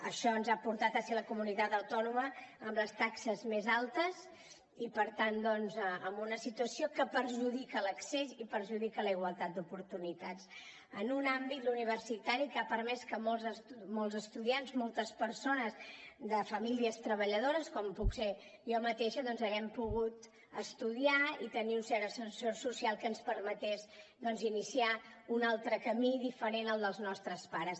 això ens ha portat a ser la comunitat autònoma amb les taxes més altes i per tant doncs a una situació que perjudica l’accés i perjudica la igualtat d’oportunitats en un àmbit l’universitari que ha permès que molts estudiants moltes persones de famílies treballadores com puc ser jo mateixa doncs haguem pogut estudiar i tenir un cert ascensor social que ens permetés iniciar un altre camí diferent als nostres pares